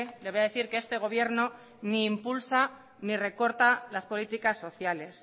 le voy a decir que este gobierno ni impulsa ni recorta las políticas sociales